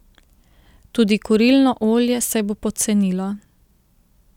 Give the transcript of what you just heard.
Tudi kurilno olje se bo pocenilo.